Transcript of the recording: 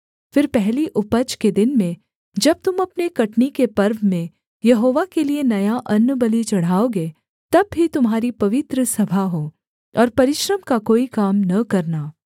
फिर पहली उपज के दिन में जब तुम अपने कटनी के पर्व में यहोवा के लिये नया अन्नबलि चढ़ाओगे तब भी तुम्हारी पवित्र सभा हो और परिश्रम का कोई काम न करना